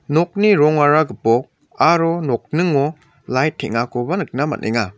nokni rongara gipok aro nokningo lait teng·akoba nikna man·enga.